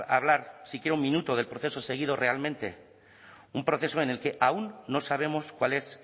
hablar si quiera un minuto del proceso seguido realmente un proceso en el que aún no sabemos cuál es